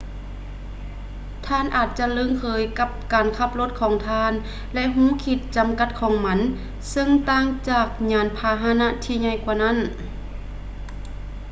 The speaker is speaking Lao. ທ່ານອາດຈະລຶ້ງເຄີຍກັບການຂັບລົດຂອງທ່ານ ແລະ ຮູ້ຂີດຈຳກັດຂອງມັນ ເຊິ່ງຕ່າງຈາກຍານພາຫະນະທີ່ໃຫຍ່ກວ່ານັ້ນ